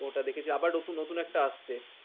ওটা দেখেছি, আবার আবার নতুন একটা আসছে।